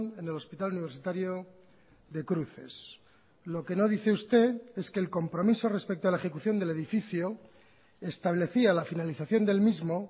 en el hospital universitario de cruces lo que no dice usted es que el compromiso respecto a la ejecución del edificio establecía la finalización del mismo